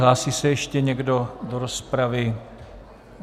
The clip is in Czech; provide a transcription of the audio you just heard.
Hlásí se ještě někdo do rozpravy?